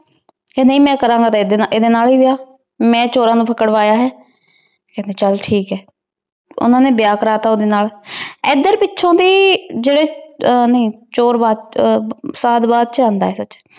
ਜੀ ਨਾਈ ਮੈਂ ਕਰਨ ਗਾ ਏਡੀ ਨਾਲ ਏ ਵਿਯਾਹ ਮੈਂ ਚੋਰਾਂ ਨੂ ਪਾਕ੍ਰ੍ਵਾਯਾ ਆਯ ਕੇਹੰਡੀ ਚਲ ਠੀਕ ਆਯ ਓਹਨਾਂ ਨੇ ਬਿਯਾਹ ਕਰ ਤਾ ਓਡੀ ਨਾਲ ਏਡ੍ਰ ਪਿਛੋਂ ਦੀ ਜੇਰੀ ਚੋਰ ਸਾਲ ਬਾਦ ਚ ਅੰਦਾ ਆਯ